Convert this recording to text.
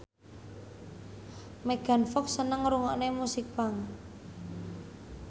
Megan Fox seneng ngrungokne musik punk